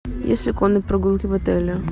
есть ли конные прогулки в отеле